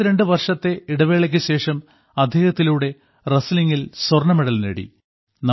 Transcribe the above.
32 വർഷത്തെ ഇടവേളയ്ക്കുശേഷം അദ്ദേഹത്തിലൂടെ റസലിംഗിൽ സ്വർണ്ണമെഡൽ നേടി